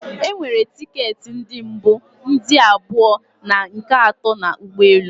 E nwere ticket ndi mbu, ndị abụọ and nke ato na ụgbọelu